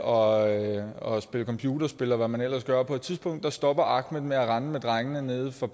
og og spille computerspil og hvad man ellers gør på et tidspunkt stopper ahmed med at rende med drengene nede fra